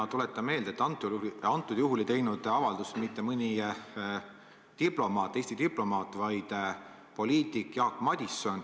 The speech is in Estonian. Ma tuletan meelde, et antud juhul ei teinud avaldust mõni Eesti diplomaat, vaid poliitik Jaak Madison.